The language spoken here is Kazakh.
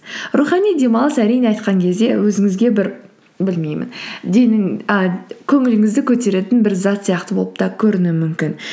рухани демалыс әрине айтқан кезде өзіңізге бір білмеймін денің а көңіліңізді көтеретін бір зат сияқты болып та көрінуі мүмкін